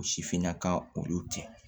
O sifinnaka olu tɛ